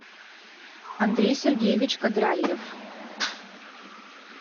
андрей сергеевич кадральев